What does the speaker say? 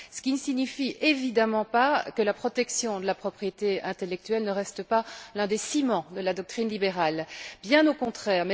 Cela ne signifie évidemment pas que la protection de la propriété intellectuelle ne reste pas un des ciments de la doctrine libérale, bien au contraire.